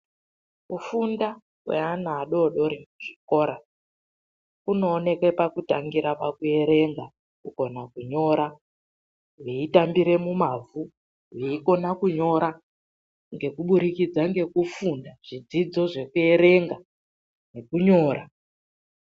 Kufunda kweana adodori kuchikora kunooneke pakutangira kuerenga, kugona kunyora veyitambire mumavhu. Veyikona kunyora ngekuburikidza ngekufunda zvidzidzo zvekuerenga nekunyora